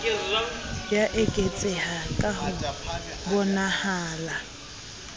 ya eketseha ka ho bonahalang